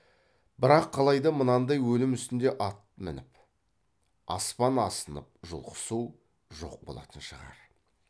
бірақ қалайда мынандай өлім үстінде ат мініп аспап асынып жұлқысу жоқ болатын шығар